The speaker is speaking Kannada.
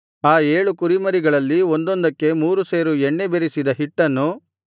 ಆ ಏಳು ಕುರಿಮರಿಗಳಲ್ಲಿ ಒಂದೊಂದಕ್ಕೆ ಮೂರು ಸೇರು ಎಣ್ಣೆ ಬೆರಸಿದ ಹಿಟ್ಟನ್ನು